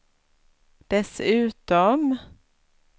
dessutom